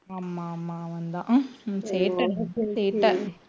ஆமா ஆமா அவன்தான் சேட்டை நல்லா சேட்டை